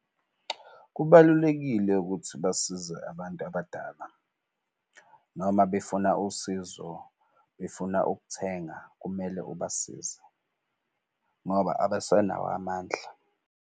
Kubalulekile ukuthi basize abantu abadala noma befuna usizo befuna ukuthenga, kumele ubasize ngoba abasanawo amandla.